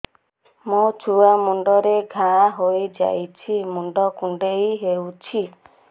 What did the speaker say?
ମୋ ଛୁଆ ମୁଣ୍ଡରେ ଘାଆ ହୋଇଯାଇଛି ମୁଣ୍ଡ କୁଣ୍ଡେଇ ହେଉଛି